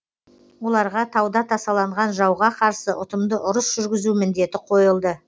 оларға тауда тасаланған жауға қарсы ұтымды ұрыс жүргізу міндеті қойылды